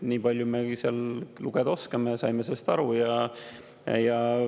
Niipalju me seal lugeda oskame ja me saime sellest aru.